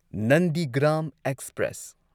Nandigram express